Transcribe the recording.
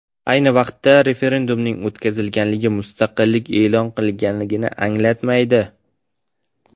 Ayni vaqtda, referendumning o‘tkazilgani mustaqillik e’lon qilinganini anglatmaydi.